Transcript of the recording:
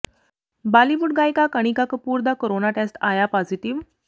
ਬਾਲੀਵੁੱਡ ਗਾਇਕਾ ਕਣਿਕਾ ਕਪੂਰ ਦਾ corona test ਆਇਆ ਪਾਜ਼ੀਟਿਵ